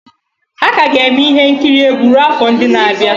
A ka ga-eme ihe nkiri egwu ruo afọ ndị na-abịa.